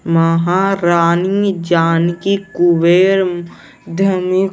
महारानी जानकी कुबेर अम ध--